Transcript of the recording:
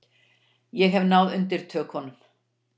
Ég hef náð undirtökunum.